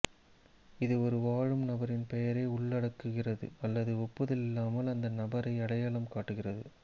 இது ஒரு வாழும் நபரின் பெயரை உள்ளடக்குகிறது அல்லது ஒப்புதல் இல்லாமல் அந்த நபரை அடையாளம் காட்டுகிறது